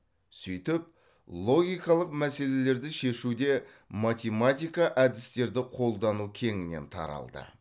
сөйтіп логикалық мәселелерді шешуде математика әдістерді қолдану кеңінен таралды